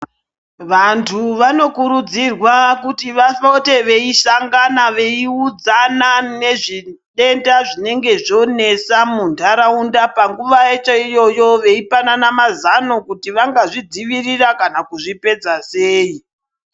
Vantu vanokurudzirwa kuti vapote veisangana veiudzana nezvitenda zvinenge zvonesa muntharaunda panguwa yacho iyoyo veipanana mazano kuti vangazvidzivirira kana kuzvipedza sei.